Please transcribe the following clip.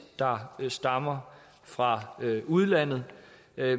der stammer fra udlandet